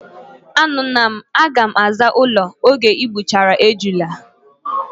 Anugo m, aga m aza ulo oge igbuchara ejune